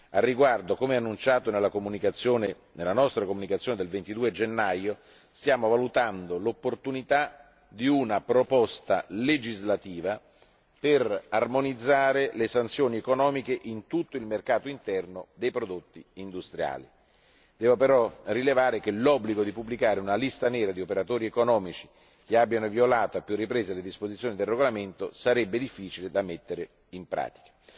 Al riguardo, come annunciato nella nostra comunicazione del 22 gennaio, stiamo valutando l'opportunità di una proposta legislativa per armonizzare le sanzioni economiche in tutto il mercato interno dei prodotti industriali. Devo però rilevare che l'obbligo di pubblicare una lista nera degli operatori economici che abbiano violato a più riprese le disposizioni del regolamento sarebbe difficile da mettere in pratica.